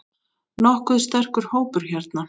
Nokkuð sterkur hópur hérna.